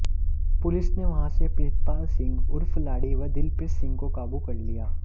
police ने वहां से प्रितपाल सिंह उर्फ लाड़ी व दिलप्रीत सिंह को काबू कर लिया